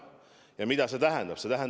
Ja mida see tähendab?